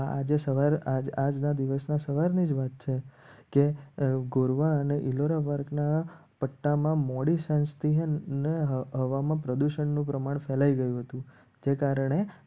આજે સવારે આજના દિવસના સવારની જ વાત છે. કે ગોરવા અને ઇલોરાપાર્ક ના પટ્ટામાં મોડી સસ્તી અને હવામાં પ્રદુષણનું પ્રમાણ ફેલાઈ ગયું હતું. જે કારણે